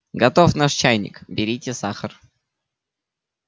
готов наш чайник берите сахар